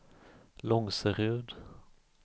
Långserud